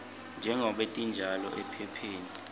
njengobe tinjalo ephepheni